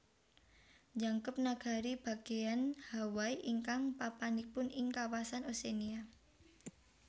Njangkep Nagari Bagéyan Hawaii ingkang papanipun ing kawasan Oceania